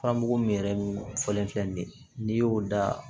Furamugu min yɛrɛ fɔlen filɛ nin ye n'i y'o da